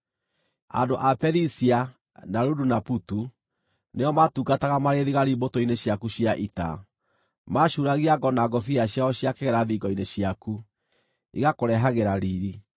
“ ‘Andũ a Perisia, na Ludu, na Putu nĩo maatungataga marĩ thigari mbũtũ-inĩ ciaku cia ita. Maacuuragia ngo na ngũbia ciao cia kĩgera thingo-inĩ ciaku, igakũrehagĩra riiri.